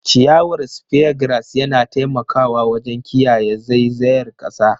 Ciyawar Speargrass yana taimakawa wajen kiyaye zaizayar kasa.